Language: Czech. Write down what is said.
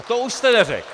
A to už jste neřekl!